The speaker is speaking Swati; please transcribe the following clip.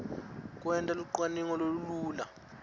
kwenta lucwaningo lolulula